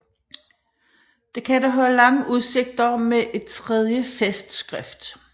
Det kan dog have lange udsigter med et tredje festskrift